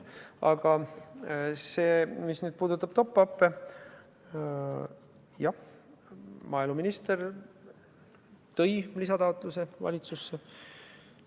Aga see, mis puudutab top-up'e – jah, maaeluminister tõi valitsusse lisataotluse.